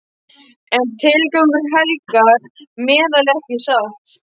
En tilgangurinn helgar meðalið, ekki satt?